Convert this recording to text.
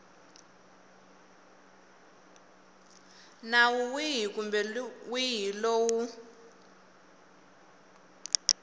nawu wihi kumbe wihi lowu